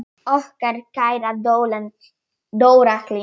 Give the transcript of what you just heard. Okkar kæra Dóra Hlín.